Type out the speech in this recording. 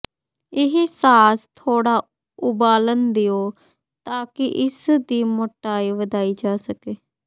ਇਹ ਸਾਸ ਥੋੜਾ ਉਬਾਲਣ ਦਿਓ ਤਾਂ ਕਿ ਇਸ ਦੀ ਮੋਟਾਈ ਵਧਾਈ ਜਾ ਸਕੇ